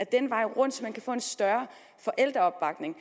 den vej rundt få en større forældreopbakning